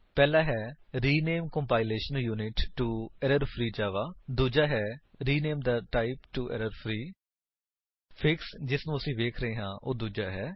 ਪਹਿਲਾ ਹੈ rename compilation unit to error free Java ਦੂਜਾ ਹੈ rename the type to error free fix ਜਿਨੂੰ ਅਸੀ ਵੇਖ ਰਹੇ ਹਾਂ ਉਹ ਦੂਜਾ ਹੈ